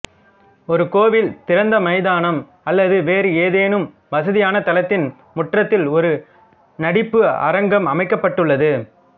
ஒரு கோவில் திறந்த மைதானம் அல்லது வேறு ஏதேனும் வசதியான தளத்தின் முற்றத்தில் ஒரு நடிப்பு அரங்கம் அமைக்கப்பட்டுள்ளது